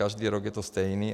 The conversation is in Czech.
Každý rok to je stejné.